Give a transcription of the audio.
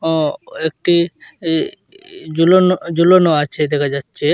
অ একটি ই জুলোনো জুলোনো আচে দেকা যাচ্চে।